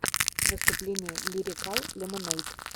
выступление лирикал лемонэйд